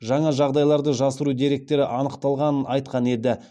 жаңа жағдайларды жасыру деректері анықталғанын айтқан еді